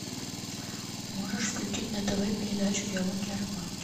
можешь включить на тв передачу диалоги о рыбалке